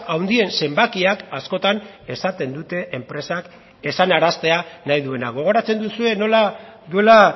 handien zenbakiak askotan esaten dute enpresak esanaraztea nahi duena gogoratzen duzue nola duela